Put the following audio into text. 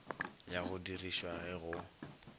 ya go dirišwa ge go